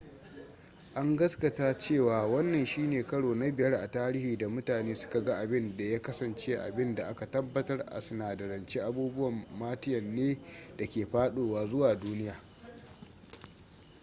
an gaskata cewa wannan shine karo na biyar a tarihi da mutane suka ga abin da ya kasance abin da aka tabbatar a sinadarance abubuwan martian ne da ke fadowa zuwa duniya